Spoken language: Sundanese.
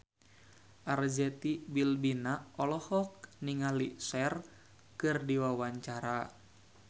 Arzetti Bilbina olohok ningali Cher keur diwawancara